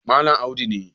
Malam Audu ne